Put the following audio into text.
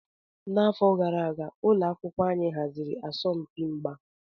N'afọ gara aga, ụlọ akwụkwọ anyị haziri asọmpi mgba.